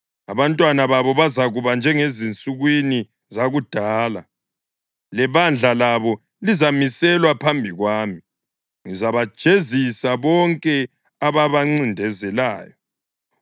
Abantwana babo bazakuba njengezinsukwini zakudala, lebandla labo lizamiselwa phambi kwami; ngizabajezisa bonke ababancindezelayo.